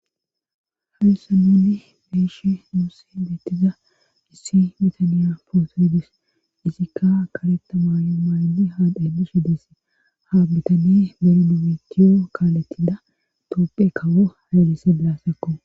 Harissa nuni beeshe nuussi beettiza issi bitaniya pootoydis isikka kaleta maayo maayni haa dhaylishe dese ha bitane berinu bitiyo kaaletida toopphe kawo hayalise bilaasakko